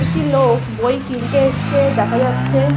একটি লোক বই কিনতে এসেছে দেখা যাচ্ছে।